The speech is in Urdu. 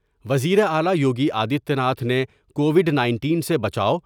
وزیراعلی یوگی آدتیہ ناتھ نے کووڈ نائنٹین سے بچاؤ ۔